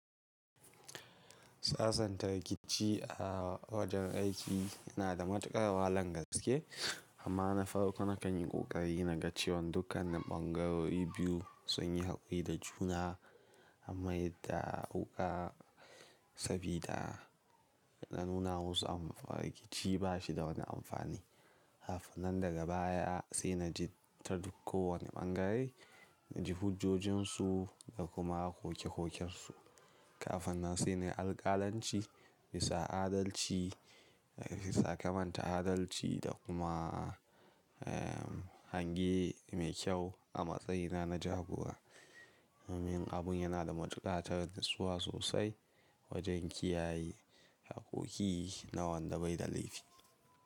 Sasan ta rikici a wajen aiki yana da matuƙar wahalan gaske, amma na farko na kan yi ƙoƙari na gace wan dukkan bangarori biyu sun yi haƙuri da juna, amma yadda a wuka, sabida na nuna musu amfa rikici ba shi da wani amfani. Kafinan daga baya sai na ji ta duk wani bangare, na ji hujojinsu da kuma koke kokensu. Kafinan sai na alkalanci, bisa adalci, bisa kamanta adalci da ehmm kuma hange mai kyau a matsayina na jagora. Min abun yana da matuƙatar natsuwa sosai wajen kiyaye hakoki na wanda bai da laifi.